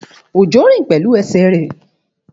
Òjó rìn pẹ̀lú ẹsẹ̀ rẹ̀